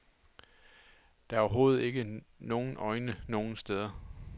Der er overhovedet ikke nogen øjne nogen steder.